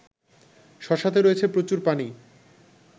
শশাতে রয়েছে প্রচুর পানি